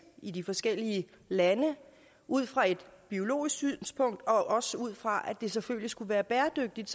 i de forskellige lande ud fra et biologisk synspunkt og også ud fra at det selvfølgelig skulle være bæredygtigt